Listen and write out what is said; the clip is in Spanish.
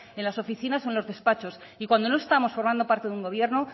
en las oficinas y en los despachos y cuando no estamos formando parte de un gobierno